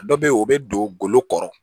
Dɔ be yen o be don golo kɔrɔ